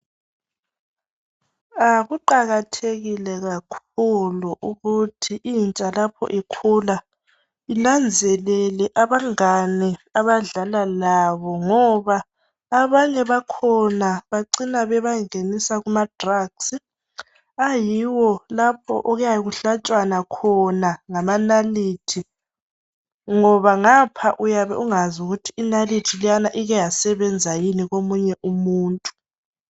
Kuqakathekile kakhulu ukuthi lapho intsha lapho ikhula inanzelele abangane abadlala labo ngoba abanye bakhona bacina bebangenise kumadrugs ayiwo lapho okuyabe kuhlatshwana khona ngamanalithi ngoba ngapho uyabungakwazi ukuthi inalithi leyana ike yasebenza yini komunye umuntu.